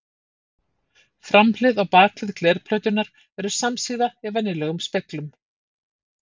Framhlið og bakhlið glerplötunnar eru samsíða í venjulegum speglum.